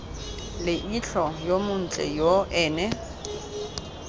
leitlho yo montle yo ene